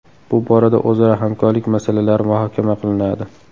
Bu borada o‘zaro hamkorlik masalalari muhokama qilinadi.